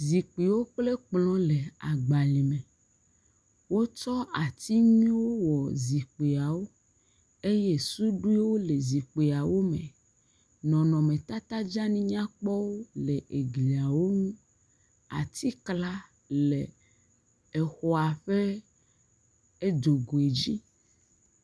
Zikpuiwo kplẽ kplɔ̃ le agbalẽ me. Wotsɔ ati nyuiewo wɔ zikpuiawo eye suɖuiwo le zikpuiwo me. Nɔnɔmetata dzeanyinyakpɔwo le glia ŋu. Atikla le xɔa ƒe dzoguidzi.